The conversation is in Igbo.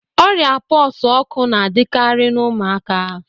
Ọrịa pox ọkụ na-adịkarị na ụmụaka